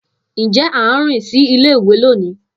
Njẹ a n rin si ile-iwe loni?